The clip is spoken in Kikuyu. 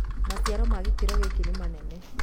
Maciaro ma gĩkĩro gĩkĩ nĩ manene